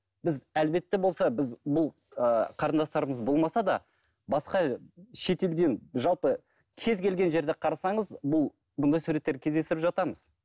біз әлбетте болса біз бұл ыыы қарындастарымыз болмаса да басқа шетелден жалпы кез келген жерді қарасаңыз бұл бұндай суреттерді кездестіріп жатамыз